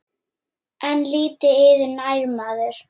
En lítið yður nær maður.